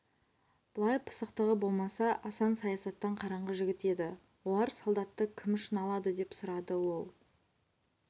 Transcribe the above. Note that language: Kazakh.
былай пысықтығы болмаса асан саясаттан қараңғы жігіт еді олар солдатты кім үшін алады деп сұрады ол